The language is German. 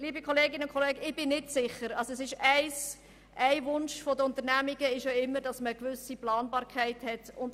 Ein Wunsch der Unternehmen ist es ja, gerne eine gewisse Planbarkeit zu haben.